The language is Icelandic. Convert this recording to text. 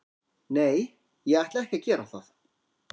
Nei, ég ætla ekki að gera það.